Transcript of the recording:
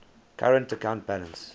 current account balance